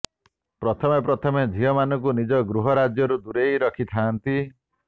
ପ୍ରଥମେପ୍ରଥମେ ଝିଅମାନଙ୍କୁ ନିଜ ଗୃହ ରାଜ୍ୟରୁ ଦୁରେଇ ରଖି ଥାଆନ୍ତି